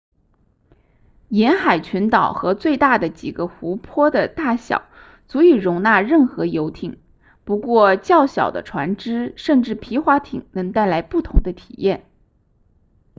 沿海群岛和最大的几个湖泊的大小足以容纳任何游艇不过较小的船只甚至皮划艇能带来不同的体验